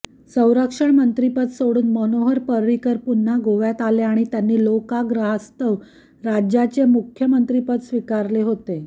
संरक्षण मंत्रीपद सोडून मनोहर पर्रिकर पुन्हा गोव्यात आले आणि त्यांनी लोकाग्रहास्तव राज्याचे मुख्यमंत्रिपद स्विकारले होते